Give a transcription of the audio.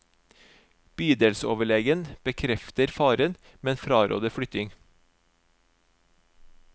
Bydelsoverlegen bekrefter faren, men fraråder flytting.